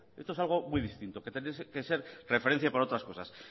esto es algo muy distinto que tendría que ser referencia a otras cosas